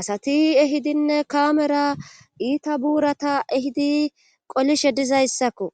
asati ehidinne kamera iita buurata ehidi qolishe dizayssakko